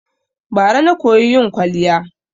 Bara na koyi yin kwaliya